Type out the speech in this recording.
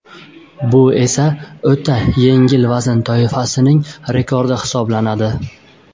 Bu esa o‘ta yengil vazn toifasining rekordi hisoblanadi.